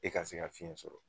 E ka se ka fiɲɛ sɔrɔ